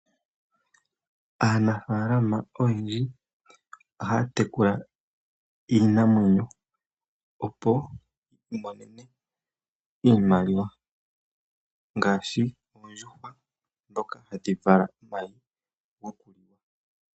Aanafaalama oyendji ohaya tekula iinamwenyo opo yi imonene iimaliwa ngaashi oondjuhwa ndhoka hadhi vala omayi.